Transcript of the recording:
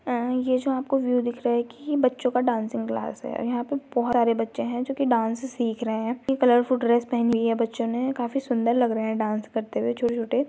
ए-ये जो आपको व्यू दिख रहा है की ये बच्चों का डान्सिंग क्लास है और यहाँ पे बहोत सारे बच्चे हैं जो की डांस सीख रहे हैं कलरफूल ड्रेस पहनी है बच्चों ने काफी सुंदर लग रहे हैं डांस करते हुए छोटे छोटे --